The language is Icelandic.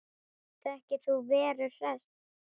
Þekkir þú Veru Hress?